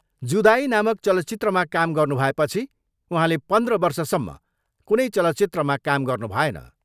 जुदाई नामक चलचित्रमा काम गर्नु भएपछि उहाँले पन्द्र वर्षसम्म कुनै चलचित्रमा काम गर्नु भएन।